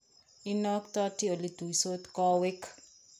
Inaktati oletuitos kawek